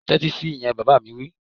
Tẹ́tí sí ìyẹn! Bàbá mi wí